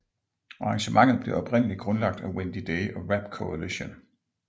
Arrangementet blev oprindelig grundlagt af Wendy Day og Rap Coalition